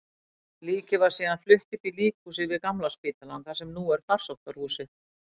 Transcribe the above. Líkið var síðan flutt upp í líkhúsið við Gamla spítalann, þar sem nú er Farsóttahúsið.